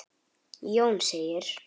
Jón segir: